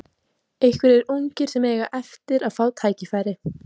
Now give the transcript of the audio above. Einhverjir ungir sem eiga eftir að fá tækifæri?